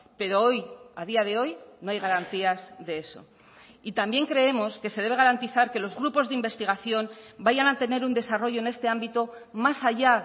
pero hoy a día de hoy no hay garantías de eso y también creemos que se debe garantizar que los grupos de investigación vayan a tener un desarrollo en este ámbito más allá